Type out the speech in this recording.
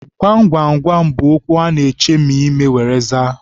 Gwam gwam gwam bụ okwu a na-echemi ime were aza.